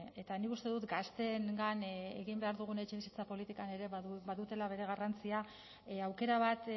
eta nik uste dut gazteengan egin behar dugun etxebizitza politikan ere badutela bere garrantzia aukera bat